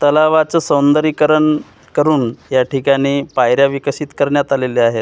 तलावाचं सौंदरीकरण करून या ठिकाणी पायऱ्या विकसित करण्यात आलेल्या आहेत.